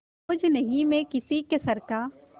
बोझ नहीं मैं किसी के सर का